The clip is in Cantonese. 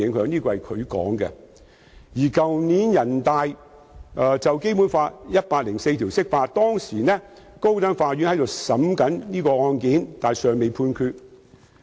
去年，人大常委會就《基本法》第一百零四條釋法，當時高等法院正審理這宗案件，但尚未判決。